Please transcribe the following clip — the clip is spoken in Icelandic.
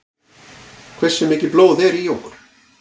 Hversu mikið blóð er í okkur?